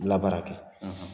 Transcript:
baara kɛ